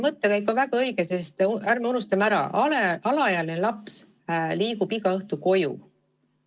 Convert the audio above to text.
Mõttekäik on väga õige, sest ärme unustame, et alaealine laps läheb igal õhtul koju.